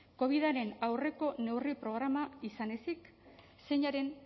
covidaren aurreko neurri programa izan ezik zeinaren